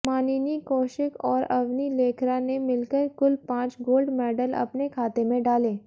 मानिनी कौशिक और अवनी लेखरा ने मिलकर कुल पांच गोल्ड मेडल अपने खाते में डाले